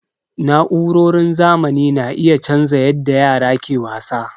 Na'urorin zamani na iya canza yadda yara ke wasa.